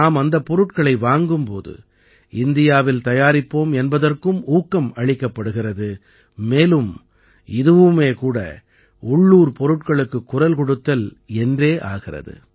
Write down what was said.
நாம் அந்தப் பொருட்களை வாங்கும் போது இந்தியாவில் தயாரிப்போம் என்பதற்கும் ஊக்கம் அளிக்கப்படுகிறது மேலும் இதுவுமே கூட உள்ளூர் பொருட்களுக்குக் குரல் கொடுத்தல் என்றே ஆகிறது